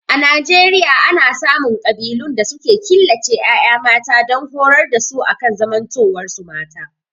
A Nijeriaya ana samun ƙabilun da suke killace ƴaƴa mata dan horar da su akan zamantowar su mata